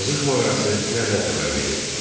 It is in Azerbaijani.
Azıq mağarası nədən xəbər verir?